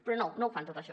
però no ho fan tot això